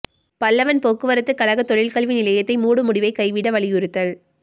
பல்லவன் போக்குவரத்துக் கழக தொழில்கல்வி நிலையத்தை மூடும் முடிவைக் கைவிட வலியுறுத்தல்